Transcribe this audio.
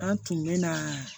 An tun bɛ na